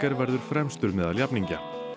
verður fremstur meðal jafningja